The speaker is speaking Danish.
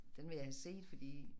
Den vil jeg have set fordi